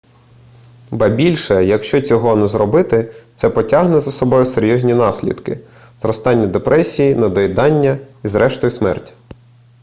ба більше якщо цього не зробити це потягне за собою серйозні наслідки зростання депресії недоїдання і зрештою смерть